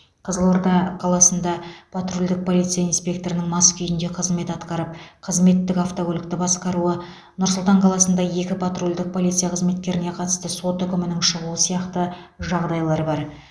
қызылорда қаласында патрульдік полиция инспекторының мас күйінде қызмет атқарып қызметтік автокөлікті басқаруы нұр сұлтан қаласында екі патрульдік полиция қызметкеріне қатысты сот үкімінің шығуы сияқты жағдайлар бар